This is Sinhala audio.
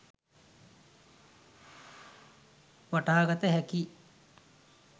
වටහාගත හැකියි.